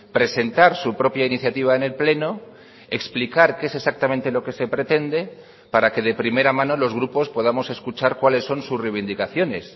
presentar su propia iniciativa en el pleno explicar qué es exactamente lo que se pretende para que de primera mano los grupos podamos escuchar cuáles son sus reivindicaciones